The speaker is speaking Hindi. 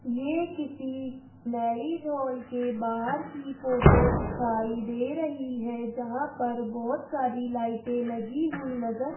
यह किसी मैरिज हॉल के बाहर की फोटो दिखाई दे रही है जहां पर बहुत सारी लाइटें लगी हुई नजर --